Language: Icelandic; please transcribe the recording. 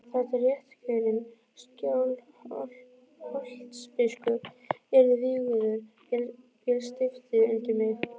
Þar til réttkjörinn Skálholtsbiskup yrði vígður féll stiftið undir mig.